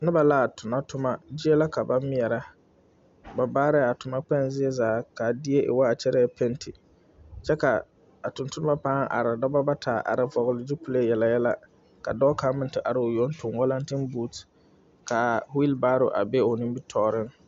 Noba a tona toma, zie la ka ba meɛrɛ, ba baare a toma kpɛŋ zie zaa, ka a die e ŋa kyɛrɛ la 'paint'.